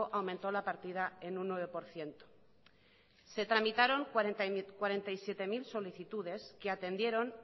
aumentó la partida en un nueve por ciento se tramitaron cuarenta y siete mil solicitudes que atendieron